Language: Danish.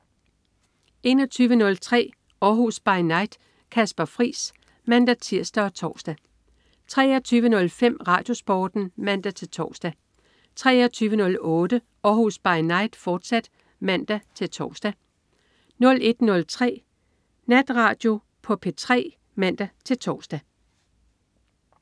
21.03 Århus By Night. Kasper Friis (man-tirs og tors) 23.05 RadioSporten (man-tors) 23.08 Århus By Night, fortsat (man-tors) 01.03 Natradio på P3 (man-tors)